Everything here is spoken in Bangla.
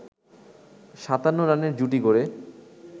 ৫৭ রানের জুটি গড়ে